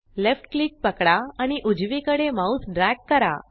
left click पकडा आणि उजवीकडे माउस ड्रॅग करा